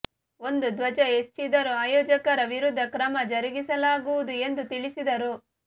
ಒಂದು ಧ್ವಜ ಹೆಚ್ಚಿದ್ದರೂ ಆಯೋಜಕರ ವಿರುದ್ಧ ಕ್ರಮ ಜರುಗಿಸಲಾಗುವುದು ಎಂದು ತಿಳಿಸಿದರು